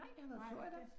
Nej det